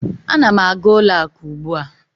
Ana m aga ụlọ akụ ugbu a.